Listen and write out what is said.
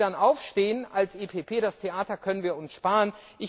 Wenn Sie dann aufstehen als EVP, das Theater können wir uns sparen.